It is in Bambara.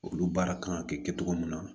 Olu baara kan ka kɛ kɛcogo min na